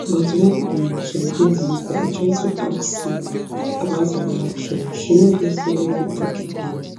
but wen um some days later i try to ask siro about her reaction she no gree follow me tok again